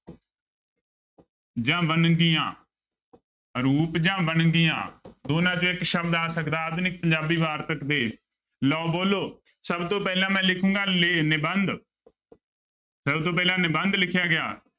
ਜਾਂ ਵੰਨਗੀਆਂ ਰੂਪ ਜਾਂ ਵੰਨਗੀਆਂ ਦੋਨਾਂ ਚੋਂ ਇੱਕ ਸ਼ਬਦ ਆ ਸਕਦਾ, ਆਧੁਨਿਕ ਪੰਜਾਬੀ ਵਾਰਤਕ ਦੇ ਲਓ ਬੋਲੋ ਸਭ ਤੋਂ ਪਹਿਲਾਂ ਮੈਂ ਲਿਖਾਂਗਾ ਲੇ ਨਿਬੰਧ ਸਭ ਤੋਂ ਪਹਿਲਾਂ ਨਿਬੰਧ ਲਿਖਿਆ ਗਿਆ।